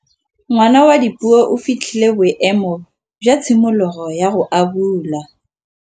Ngwana wa Dipuo o fitlhile boêmô jwa tshimologô ya go abula.